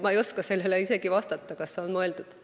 Ma ei oska sellele isegi vastata, kas on mõeldud.